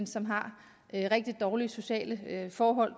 som har rigtig dårlige sociale forhold og